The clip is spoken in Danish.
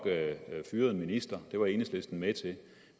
fyret en minister det var enhedslisten med til